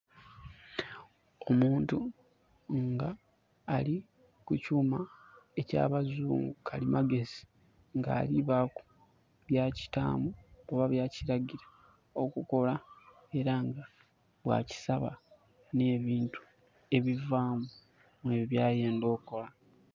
Omuntu nga ali kukyuuma eky'abazungu, kalimagezi. Nga alibaaku byakitaamu oba byakiragila okukola, era nga bwakisaba n'ebintu ebivaamu ebyo byayenda okola.